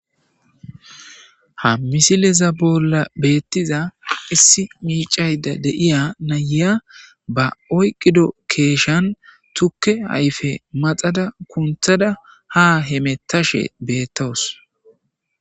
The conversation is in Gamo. Ha misileza bolla beettiza issi miicayda deiya nayiya ba oyqido keeshan tukke hayfe maxada kunthada ha hemettashe beettowos